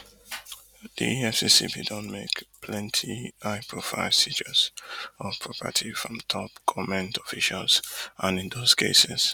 di efcc bin don make plenty highprofile seizures of property from top goment officials and in dos cases